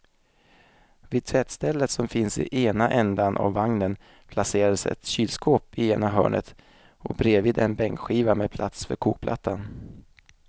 Vid tvättstället som finns i ena ändan av vagnen placerades ett kylskåp i ena hörnet och bredvid en bänkskiva med plats för kokplattan.